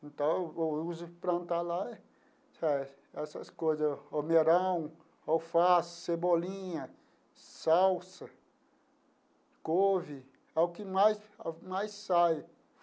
Então, eu uso para plantar lá essas coisas, almeirão, alface, cebolinha, salsa, couve, é o que mais é o que mais sai.